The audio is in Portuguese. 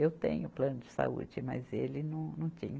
Eu tenho plano de saúde, mas ele não, não tinha.